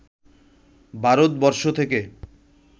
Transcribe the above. ভারত বর্ষ থেকে